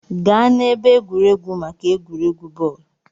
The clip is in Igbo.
Gaa n'ebe egwuregwu maka egwuregwu bọọlụ!